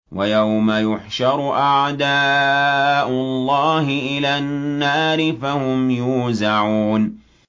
وَيَوْمَ يُحْشَرُ أَعْدَاءُ اللَّهِ إِلَى النَّارِ فَهُمْ يُوزَعُونَ